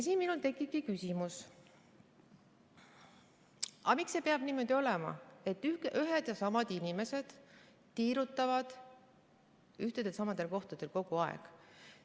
Siin minul tekibki küsimus, miks see peab niimoodi olema, et ühed ja samad inimesed tiirutavad ühtedel ja samadel kohtadel kogu aeg.